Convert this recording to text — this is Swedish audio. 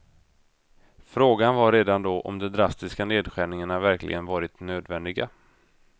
Frågan var redan då om de drastiska nedskärningarna verkligen varit nödvändiga.